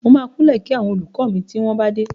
Mo máa kúnlẹ̀ kí àwọn olùkọ́ mi tí wọ́n bá dé.